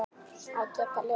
Að geta lifað.